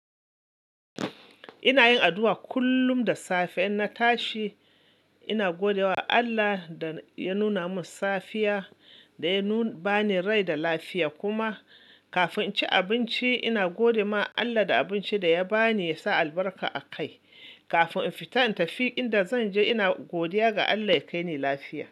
Ina yin addu'a kullum da safe, in na tashi ina gode wa Allah da ya nuna min safiya da ya ba ni rai da lafiya. Kuma kafin in ci abinci, ina gode ma Allah da abinci da ya ba ni ya sa albarka a kai. Kafin in fita in tafi inda zan je, ina godiya ga Allah ya kai ni lafiya.